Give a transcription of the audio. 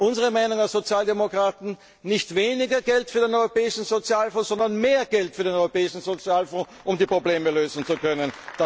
Unsere Meinung als Sozialdemokraten Nicht weniger Geld für den Europäischen Sozialfonds, sondern mehr Geld für den Europäischen Sozialfonds, um die Probleme lösen zu können.